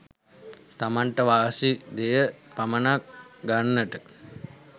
තමන්ට වාසි දෙය පමණක් ගන්නට